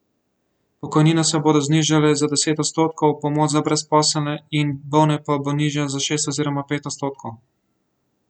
Pokojnine se bodo znižale za deset odstotkov, pomoč za brezposelne in bolne pa bo nižja za šest oziroma pet odstotkov.